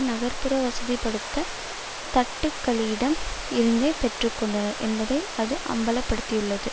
நகர் புற வசதிபடைத்த தட்டுக்களிடம் இருந்தே பெற்று கொண்டனர் என்பதை அது அம்பல படுத்தியுள்ளது